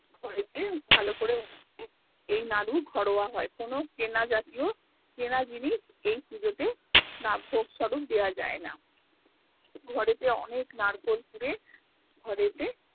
ঘরেতে ভালো করে এই নাড়ু ঘরোয়া হয় কোনো কেনা জাতীয় কেনা জিনিস এই পুজোতে রাজভোগ স্বরূপ দেয়া যাই না ঘরে তে অনেক নারকোল কুড়ে ঘরেতে